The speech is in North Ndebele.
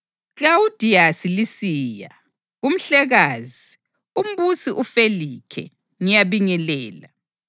Klawudiyasi Lisiya, Kumhlekazi, uMbusi uFelikhe: Ngiyabingelela.